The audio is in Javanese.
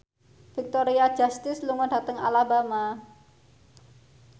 Victoria Justice lunga dhateng Alabama